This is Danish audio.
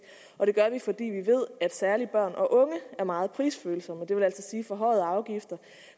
og det gør vi fordi vi ved at særlig børn og unge er meget prisfølsomme det vil altså sige at forhøjede afgifter